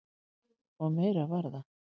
Og Mara var það.